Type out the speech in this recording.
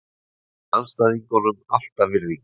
Ég sýni andstæðingunum alltaf virðingu.